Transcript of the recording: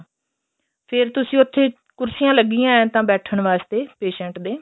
ਫ਼ੇਰ ਤੁਸੀਂ ਉੱਥੇ ਕੁਰਸੀਆ ਲੱਗੀਆਂ ਏਂ ਤਾਂ ਬੈਠਣ ਵਾਸਤੇ patient ਦੇ